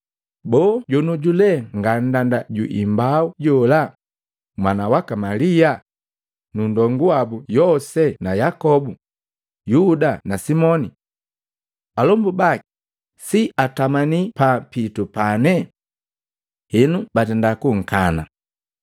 Boo jonyoju lee nga nndanda juimbau jola, mwana waka Malia, nu ndongu wabu Yose na Yakobu, Yuda na Simoni? Alombu baki si atamani pa pitu pane?” Henu batenda kunkana.